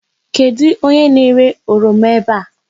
Kedụ onye na-ere oroma ebe a?